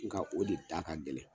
N ga o de da ka gɛlɛn.